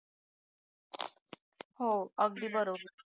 हो अगदी बरोबर